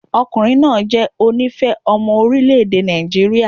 Ọkùnrin náà jẹ́ onífẹ̀ẹ́ ọmọ orílẹ̀ èdè Nàìjíríà.